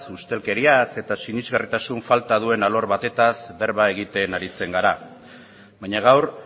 ustelkeriaz eta sinesgarritasun falta duen alor batetaz berba egiten aritzen gara baina gaur